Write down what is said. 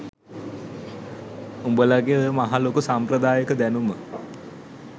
උඹලගෙ ඔය මහ ලොකු සම්ප්‍රදායික දැනුම